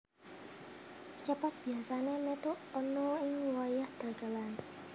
Cepot biasanè metu ana ing wayah dagelan